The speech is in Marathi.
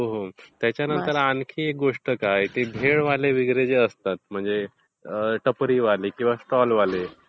हो हो. त्याच्यानंतर आणखी एक गोष्ट काय भेलवाले वगैरे जे असतात म्हणजे टपरीवाले किंवा स्टॉल वाले.